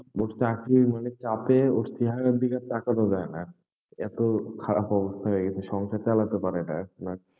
চাকরির মানে চাপে ওই চেহারার দিকে তাকানো যায়না, এত খারাপ অবস্থা হয়ে গেছে, সংসার চালাতে পারেনা এখন আর।